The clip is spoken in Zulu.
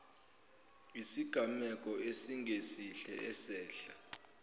isigameko esingesihle esehla